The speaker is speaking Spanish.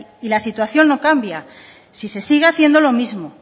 y la situación no cambia si se sigue haciendo lo mismo